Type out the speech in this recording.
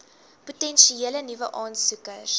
potensiële nuwe aansoekers